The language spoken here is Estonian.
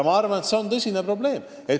Ma arvan, et see on tõsine probleem.